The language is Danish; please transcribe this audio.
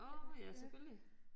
Åh ja selvfølgelig